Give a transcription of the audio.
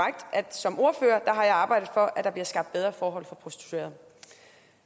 jeg som ordfører har arbejdet for at der bliver skabt bedre forhold for prostituerede